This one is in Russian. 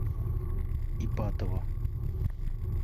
ипатово